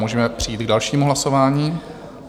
Můžeme přejít k dalšímu hlasování.